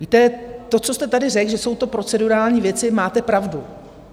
Víte, to, co jste tady řekl, že to jsou procedurální věci, máte pravdu.